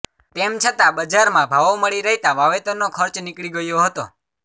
તેમ છતા બજારમાં ભાવો મળી રહેતા વાવેતરનો ખર્ચ નીકળી ગયો હતો